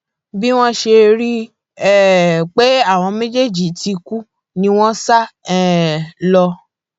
bí wọn ṣe rí i um pé àwọn méjèèjì ti kú ni wọn sá um lọ